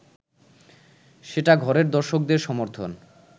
সেটা ঘরের দর্শকদের সমর্থন